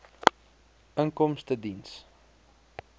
inkomstediens